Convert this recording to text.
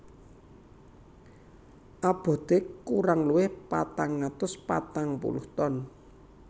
Aboté kurang luwih patang atus patang puluh ton